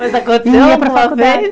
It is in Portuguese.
Mas aconteceu alguma vez?